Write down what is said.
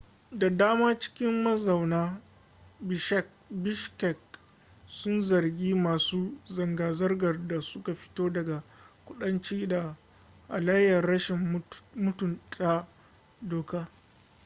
da dama cikin mazauna bishkek sun zargi masu zanga-zangar da suka fito daga kudanci da halayyar rashin mutunta doka